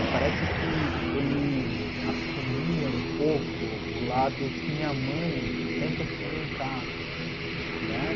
E parece que ele assumia um pouco o lado que minha mãe sempre assumiu em casa, né?